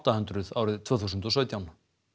hundruð árið tvö þúsund og sautján